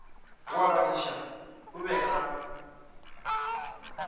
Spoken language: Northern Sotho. wa badiša o be a